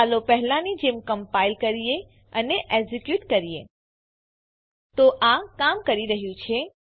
ચાલો પહેલાની જેમ કમ્પાઈલ કરીએ અને એક્ઝીક્યુટ કરીએ તો આ કામ કરી રહ્યું છે